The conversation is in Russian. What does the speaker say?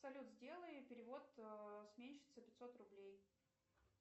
салют сделай перевод сменщице пятьсот рублей